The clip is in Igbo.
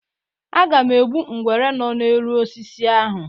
Aga m egbu nwere nọ n'elu osisi ahụ.